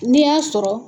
N'i y'a sɔrɔ